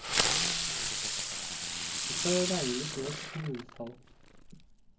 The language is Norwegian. Vi skal regne litt mer på kommunens tall.